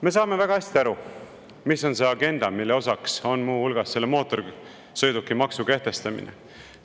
Me saame väga hästi aru, mis on see agenda, mille osaks on muu hulgas selle mootorsõidukimaksu kehtestamine.